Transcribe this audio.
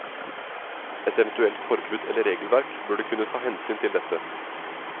Et eventuelt forbud eller regelverk burde kunne ta hensyn til dette.